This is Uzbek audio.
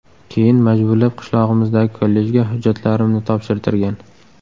Keyin majburlab qishlog‘imizdagi kollejga hujjatlarimni topshirtirgan.